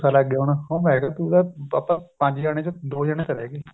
ਗੁੱਸਾ ਲੱਗੇ ਹੁਣ ਮੈਂ ਕਿਹਾ ਤੂੰ ਤਾਂ ਆਪਾਂ ਪੰਜ ਜਾਣੇ ਚੋਂ ਦੋ ਜਾਣੇ ਚਲੇ ਗਏ